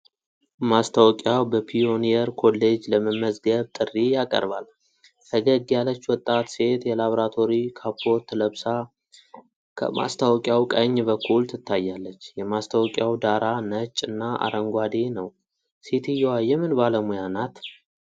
ማስታወቂያው በፒዮኒየር ኮሌጅ ለመመዝገብ ጥሪ ያቀርባል። ፈገግ ያለች ወጣት ሴት የላብራቶሪ ካፖርት ለብሳ ከማስታወቂያው ቀኝ በኩል ትታያለች። የማስታወቂያው ዳራ ነጭ እና አረንጓዴ ነው። ሴትየዋ የምን ባለሙያ ናት?